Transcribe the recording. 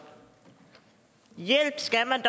hjælp skal man